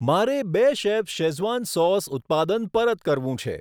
મારે બેશેફ Schezwan sauce ઉત્પાદન પરત કરવું છે.